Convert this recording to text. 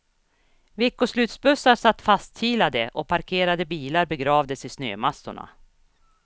Veckoslutsbussar satt fastkilade och parkerade bilar begravdes i snömassorna.